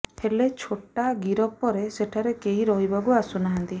ହେଲେ ଛୋଟା ଗିରଫ ପରେ ସେଠାରେ କେହି ରହିବାକୁ ଆସୁନାହାନ୍ତି